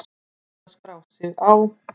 Hægt að skrá sig á